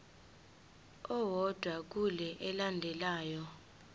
owodwa kule elandelayo